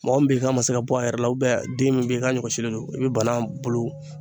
Mɔgɔ min bɛ yen ka ma se ka bɔ a yɛrɛ la den min bɛ yen i ka ɲɔgɛsilen don i bɛ banan bolo